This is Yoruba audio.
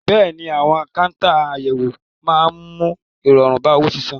Bẹ́ẹ̀ ni, àwọn káńtà àyẹ̀wò máa ń mú ìrọ̀rùn bá owó sísan.